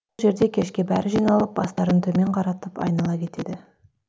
жерде кешке бәрі жиналып бастарын төмен қаратып айнала кетеді